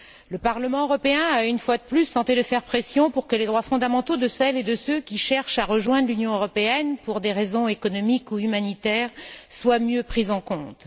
Le Parlement européen a, une fois de plus, tenté de faire pression pour que les droits fondamentaux de celles et de ceux qui cherchent à rejoindre l'Union européenne, pour des raisons économiques ou humanitaires, soient mieux pris en compte.